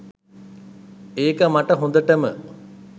ඒක මට හොඳටම.